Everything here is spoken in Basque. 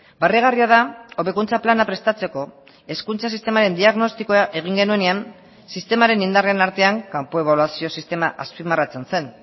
barregarria da hobekuntza plana prestatzeko hezkuntza sistemaren diagnostikoa egin genuenean sistemaren indarren artean kanpo ebaluazio sistema azpimarratzen zen